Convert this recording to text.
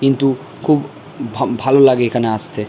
কিন্তু খুব ভা ভালো লাগে এখানে আসতে।